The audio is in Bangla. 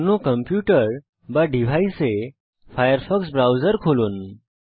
অন্য কম্পিউটার বা ডিভাইসে ফায়ারফক্স ব্রাউজার খুলুন